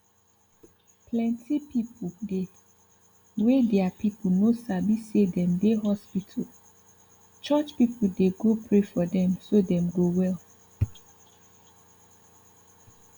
plenty pipu dey wey deir people no sabi say dem dey hospital church pipu dey go pray for dem so dem go well